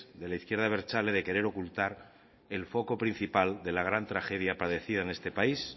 de la izquierda abertzale de querer ocultar el foco principal de la gran tragedia padecida en este país